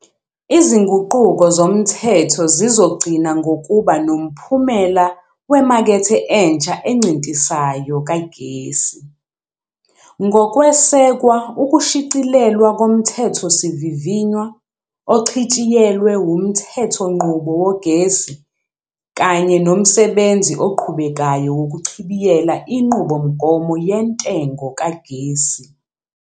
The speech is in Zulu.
Izinguquko zomthetho zizogcina ngokuba nomphumela wemakethe entsha encintisayo kagesi, ngokwesekwa ukushicilelwa koMthethosivivinywa Ochitshiyelwe Womthe thonqubo Wogesi kanye nomsebenzi oqhubekayo wokuchibiyela iNqubomgomo Yentengo Kagesi.